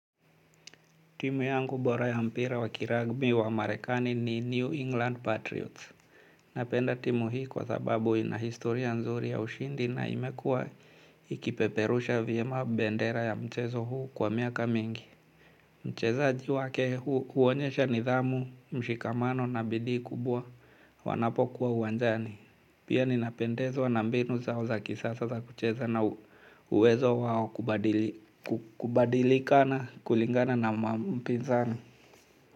Timu yangu bora ya mpira wakiragbi wa marekani ni New England Patriots. Napenda timu hii kwa sababu inahistoria nzuri ya ushindi na imekua ikipeperusha vyema bendera ya mchezo huu kwa miaka mingi. Mchezaji wake huonyesha nidhamu, mshikamano na bidii kubwa wanapo kuwa uwanjani. Pia ninapendezwa nambinu zao za kisasa za kucheza na uwezo wao kubadilikana kulingana na mpizani.